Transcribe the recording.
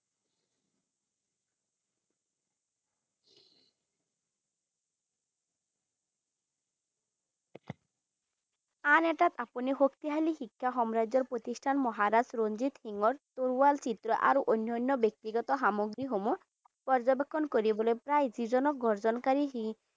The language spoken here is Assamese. আন এটাত আপুনি শক্তিশালী শিক্ষা সাম্ৰাজ্যৰ প্ৰতিষ্ঠান মহাৰাজ ৰঞ্জিত সিংহৰ তৰুৱাল চিত্ৰ আৰু অন্যান্য ব্যক্তিগত খামগ্ৰীসমূহ পৰ্যবেক্ষণ কৰিবলৈ প্ৰায় যিজনক গৰ্জনকাৰী